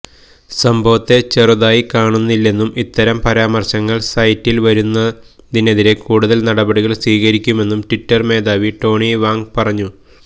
സംഭവത്തെ ചെറുതായി കാണുന്നില്ലെന്നും ഇത്തരം പരാമര്ശങ്ങള് സൈറ്റില് വരുന്നതിനെതിരെ കൂടുതല് നടപടികള് സ്വീകരിക്കുമെന്നും ട്വിറ്റര് മേധാവി ടോണി വാംഗ് പറഞ്ഞു